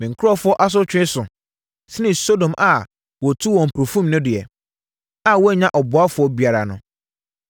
Me nkurɔfoɔ asotwe so sene Sodom a wɔtuu wɔn mpofirim no deɛ, a wɔannya ɔboafoɔ biara no.